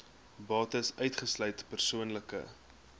bates uitgesluit persoonlike